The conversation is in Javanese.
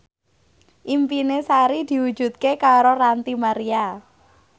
impine Sari diwujudke karo Ranty Maria